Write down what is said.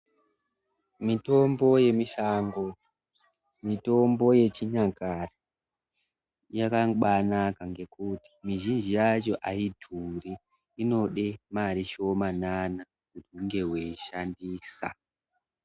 Mitombo yemisango mitombo yechinyakare yakabanaka ngekuti mizhinji yacho aidhuri inode mari shomanana kunge weishandisa .